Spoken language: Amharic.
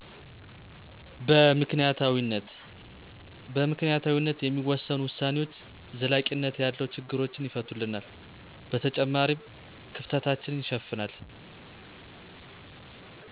በምክንያታዊነት። በምክንያታዊነት የሚወሰኑ ዉሳኔዎች ዘላቂነት ያለው ችግሮችን ይፈቱልናል በተጨማሪም ክፍተታችንን ይሸፍናል።